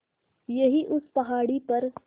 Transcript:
यहीं उस पहाड़ी पर